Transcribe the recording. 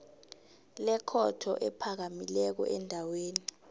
lekhotho ephakamileko endaweni